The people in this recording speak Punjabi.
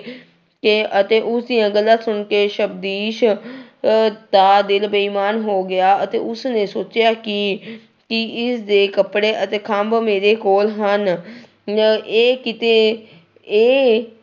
ਕੇ ਅਤੇ ਉਸਦੀਆਂ ਗੱਲਾਂ ਸੁਣਕੇ ਸਬਦੀਸ਼ ਅਹ ਦਾ ਦਿਲ ਬੇਈਮਾਨ ਹੋ ਗਿਆ ਅਤੇ ਉਸਨੇ ਸੋਚਿਆ ਕਿ ਕਿ ਇਸਦੇ ਕੱਪੜੇ ਅਤੇ ਖੰਭ ਮੇਰੇ ਕੋਲ ਹਨ ਨ ਇਹ ਕਿਤੇ ਇਹ